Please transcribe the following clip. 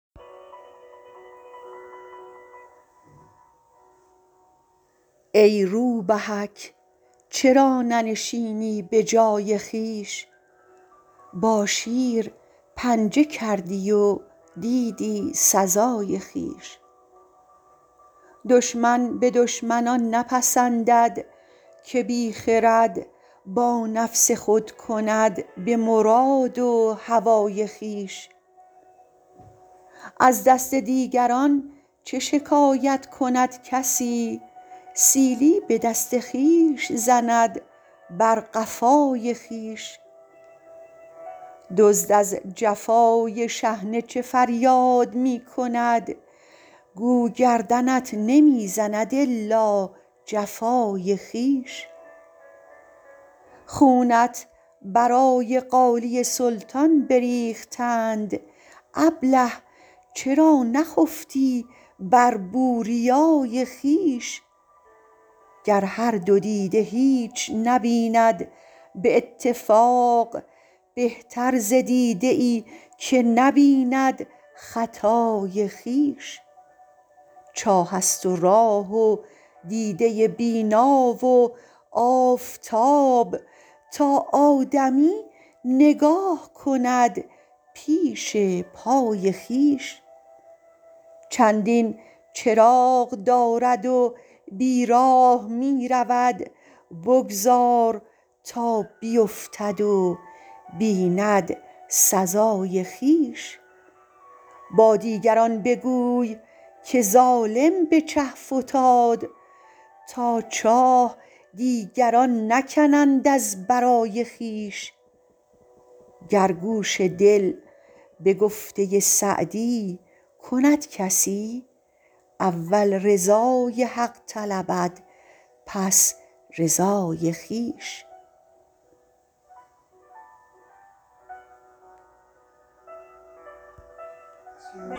ای روبهک چرا ننشینی به جای خویش با شیر پنجه کردی و دیدی سزای خویش دشمن به دشمن آن نپسندد که بی خرد با نفس خود کند به مراد و هوای خویش از دست دیگران چه شکایت کند کسی سیلی به دست خویش زند بر قفای خویش دزد از جفای شحنه چه فریاد می کند گو گردنت نمی زند الا جفای خویش خونت برای قالی سلطان بریختند ابله چرا نخفتی بر بوریای خویش گر هر دو دیده هیچ نبیند به اتفاق بهتر ز دیده ای که نبیند خطای خویش چاه است و راه و دیده بینا و آفتاب تا آدمی نگاه کند پیش پای خویش چندین چراغ دارد و بیراه می رود بگذار تا بیفتد و بیند سزای خویش با دیگران بگوی که ظالم به چه فتاد تا چاه دیگران نکنند از برای خویش گر گوش دل به گفته سعدی کند کسی اول رضای حق طلبد پس رضای خویش